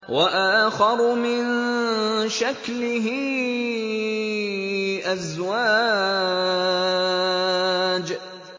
وَآخَرُ مِن شَكْلِهِ أَزْوَاجٌ